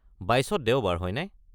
২২ত দেওবাৰ, হয়নে?